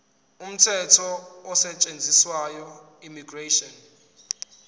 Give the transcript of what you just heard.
umthetho osetshenziswayo immigration